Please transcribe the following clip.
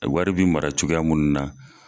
Wari bi mara cogoya munnu na.